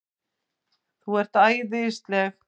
ÞÚ ERT ÆÐISLEG!